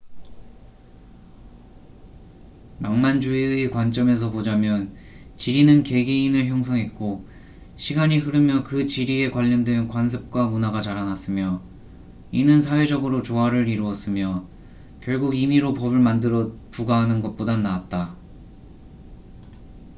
낭만주의의 관점에서 보자면 지리는 개개인을 형성했고 시간이 흐르며 그 지리에 관련된 관습과 문화가 자라났으며 이는 사회적으로 조화을 이루었으며 결국 임의로 법을 만들어 부과하는 것보단 나았다